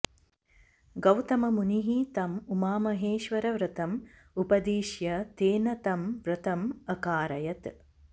गौतममुनिः तम् उमामहेश्वरव्रतम् उपदिश्य तेन तं व्रतम् अकारयत्